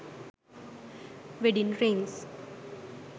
wedding rings